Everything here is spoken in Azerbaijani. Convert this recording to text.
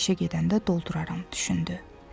Sabah işə gedəndə dolduraram, düşündü.